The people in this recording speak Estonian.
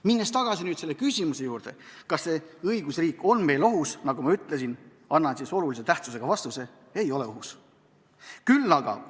Minnes tagasi selle küsimuse juurde, kas õigusriik on meil ohus, siis, nagu ma ütlesin, annan olulise tähtsusega vastuse: ei ole ohus.